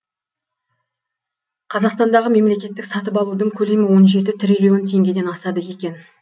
қазақстандағы мемлекеттік сатып алудың көлемі он жеті триллион теңгеден асады екен